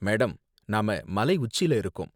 Madam, நாம மலை உச்சில இருக்கோம்.